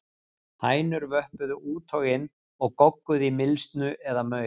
Hænur vöppuðu út og inn og gogguðu í mylsnu eða maur.